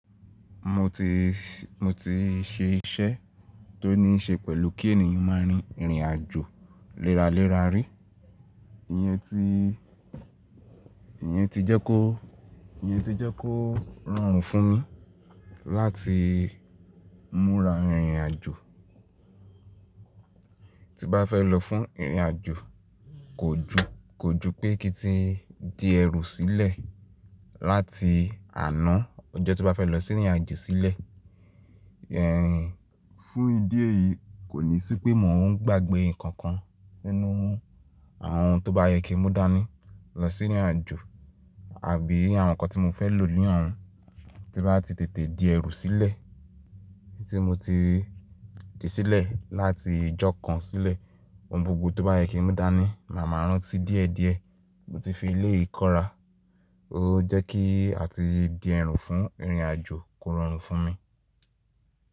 Mo ti, mo ti ṣe iṣẹ́ tó ní ṣe pẹ̀lú kí ènìyàn má rìn, rìnrìn àjò léra léra rí. Ìyẹn ti, Ìyẹn ti jẹ́ kó, Ìyẹn ti jẹ́ kó rọrùn fún mi láti múra rìnrìn àjò. Tí n bá fẹ́ lọ fún rìnrìn àjò, kò jú, kò jú pé kí n ti di ẹrù sílẹ̀ láti àná ọjọ́ tí n bá fẹ́ lọ sí ìrìn àjò sílẹ̀. Ẹ̀hẹ́n, fún ìdí èyí kò ní sí pé mò ń gbàgbé nǹkan kan nínú wọn. Àwọn tó bá yẹ kí n mú dání lọ sí ìrìn àjò àbí àwọn nǹkan tí mo fẹ́ lò ní ọ̀hún tí n bá ti tètè di ẹrù sílẹ̀. Tí mo ti di sílẹ̀ láti ìjọ kan sílẹ̀, ohun gbogbo tó bá yẹ kí n mú dání, màá máa rántí díẹ̀ díẹ̀. Mo ti fi eléyìí kọ́ra, torí ó jẹ́ kí àti di ẹrù fún ìrìn àjò kó rọrùn fún mi.